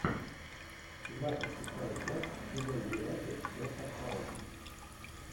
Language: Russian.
двадцать шестая часть сезон двенадцать доктор хаус